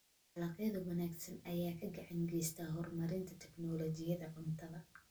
Dalagyada wanaagsan ayaa gacan ka geysta horumarinta tignoolajiyada cuntada.